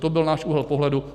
To byl náš úhel pohledu.